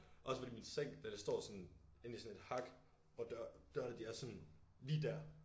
Også fordi min seng den står sådan inde i sådan et hak hvor dørene de er sådan lige dér